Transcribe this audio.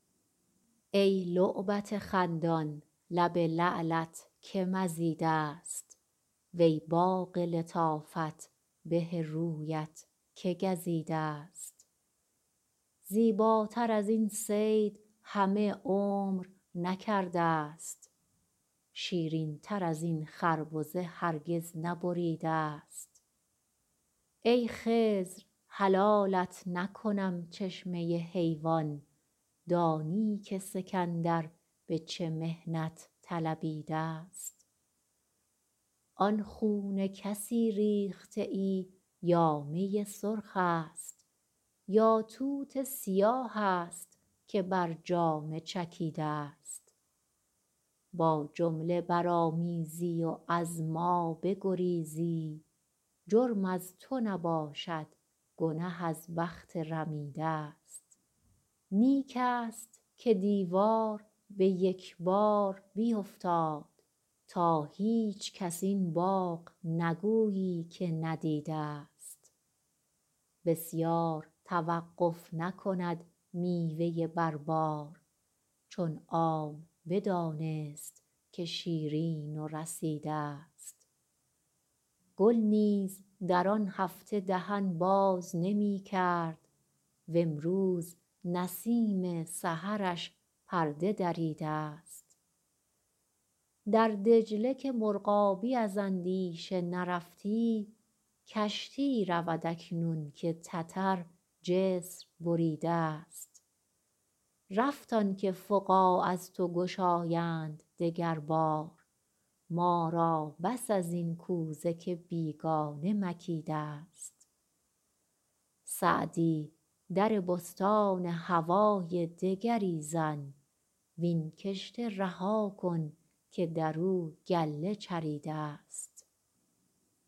ای لعبت خندان لب لعلت که مزیده ست وی باغ لطافت به رویت که گزیده ست زیباتر از این صید همه عمر نکرده ست شیرین تر از این خربزه هرگز نبریده ست ای خضر حلالت نکنم چشمه حیوان دانی که سکندر به چه محنت طلبیده ست آن خون کسی ریخته ای یا می سرخ است یا توت سیاه است که بر جامه چکیده ست با جمله برآمیزی و از ما بگریزی جرم از تو نباشد گنه از بخت رمیده ست نیک است که دیوار به یک بار بیفتاد تا هیچکس این باغ نگویی که ندیده ست بسیار توقف نکند میوه بر بار چون عام بدانست که شیرین و رسیده ست گل نیز در آن هفته دهن باز نمی کرد وامروز نسیم سحرش پرده دریده ست در دجله که مرغابی از اندیشه نرفتی کشتی رود اکنون که تتر جسر بریده ست رفت آن که فقاع از تو گشایند دگر بار ما را بس از این کوزه که بیگانه مکیده ست سعدی در بستان هوای دگری زن وین کشته رها کن که در او گله چریده ست